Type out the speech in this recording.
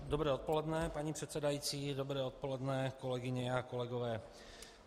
Dobré odpoledne, paní předsedající, dobré odpoledne, kolegyně a kolegové.